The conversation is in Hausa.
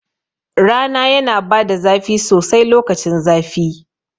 Rana yana bada zafi sosai lokacin zafi